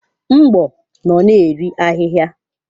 Mgbo nọ na-eri ahịhịa.